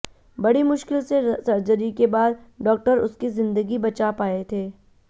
बड़ी मुश्किल से सर्जरी के बाद डॉक्टर उसकी जिंदगी बचा पाए थे